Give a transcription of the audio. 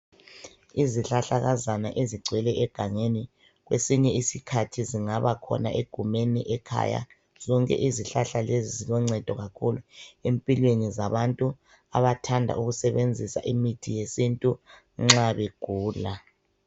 Izihlahlakazana ezigcwele egangeni kwesinye isikhathi zingaba khona egumeni ekhaya .Zonke izihlahla lezi ziloncedo kakhulu empilweni zabantu abathanda ukusebenzisa imithi yesintu nxa begula .